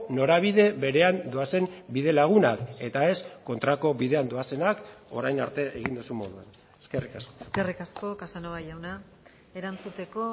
norabide berean doazen bidelagunak eta ez kontrako bidean doazenak orain arte egin duzun moduan eskerrik asko eskerrik asko casanova jauna erantzuteko